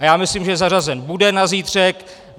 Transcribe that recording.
A já myslím, že zařazen bude na zítřek.